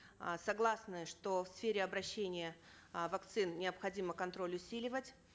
э согласны что в сфере обращения э вакцин необходимо контроль усиливать